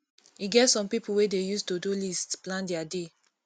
e get some pipo wey dey use todo list plan their day